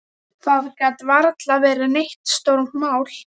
Það gat varla verið neitt stórmál.